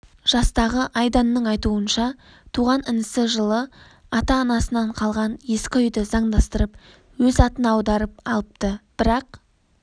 жастағы айданның айтуынша туған інісі жылы ата-насынан қалған ескі үйді заңдастырып өз атына аударып алыпты бірақ